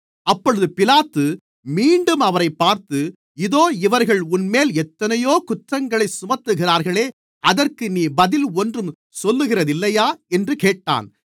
அப்பொழுது பிலாத்து மீண்டும் அவரைப் பார்த்து இதோ இவர்கள் உன்மேல் எத்தனையோ குற்றங்களைச் சுமத்துகிறார்களே அதற்கு நீ பதில் ஒன்றும் சொல்லுகிறதில்லையா என்று கேட்டான்